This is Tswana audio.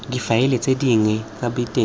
difaele tse dinnye tsa diteng